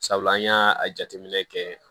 Sabula an y'a a jateminɛ kɛ